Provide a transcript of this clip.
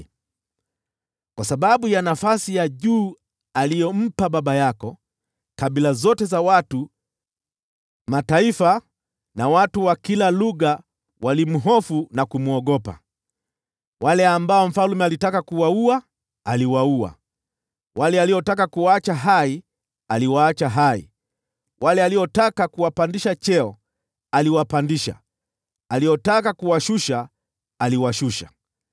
Kwa sababu ya nafasi ya juu aliyompa baba yako, kabila zote za watu, mataifa na watu wa kila lugha walimhofu na kumwogopa. Wale ambao mfalme alitaka kuwaua, aliwaua; wale aliotaka kuwaacha hai, aliwaacha hai; wale aliotaka kuwapandisha cheo, aliwapandisha; aliotaka kuwashusha, aliwashusha.